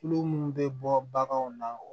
Tulo munnu bɛ bɔ baganw na